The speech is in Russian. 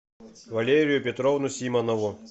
валерию петровну симонову